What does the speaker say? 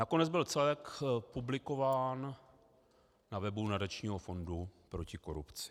Nakonec byl celek publikován na webu Nadačního fondu proti korupci.